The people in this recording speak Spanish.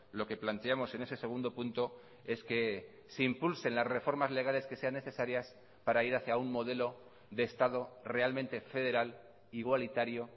lo que planteamos en ese segundo punto es que se impulsen las reformas legales que sean necesarias para ir hacia un modelo de estado realmente federal igualitario